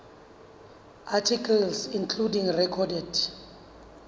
articles including recorded